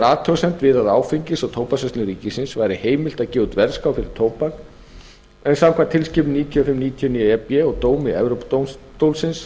athugasemd við að áfengis og tóbaksverslun ríkisins væri heimilt að gefa út verðskrá fyrir tóbak en samkvæmt tilskipun níutíu og fimm níutíu og níu e b og dómi evrópudómstólsins